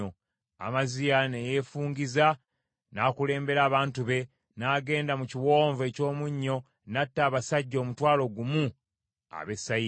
Amaziya ne yeefungiza, n’akulembera abantu be, n’agenda mu kiwonvu eky’omunnyo n’atta abasajja omutwalo gumu ab’e Seyiri.